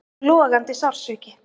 Og logandi sársauki.